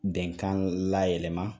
Ben kan layɛlɛma